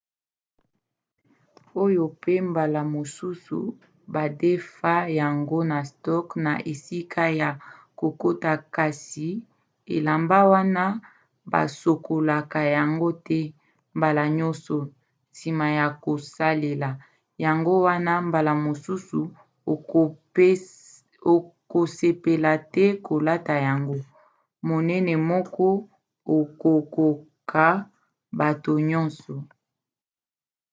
oyo pe mbala mosusu badefa yango na stock na esika ya kokota kasi elamba wana basokolaka yango te mbala nyonso nsima ya kosalela yango wana mbala mosusu okosepela te kolata yango. monene moko ekokoka bato nyonso!